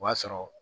O b'a sɔrɔ